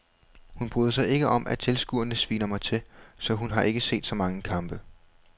Hun bryder sig ikke om at tilskuerne sviner mig til, så hun har ikke set så mange kampe.